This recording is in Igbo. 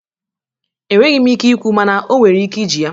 Enweghi m ike ikwu mana o nwere ike iji ya.